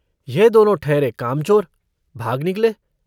यह दोनों ठहरे कामचोर भाग निकले।